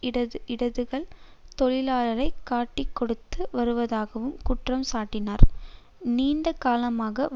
இடதுகள் தொழிலாளரை காட்டிக்கொடுத்து வருவதாகவும் குற்றம் சாட்டினார் நீண்ட காலமாகவே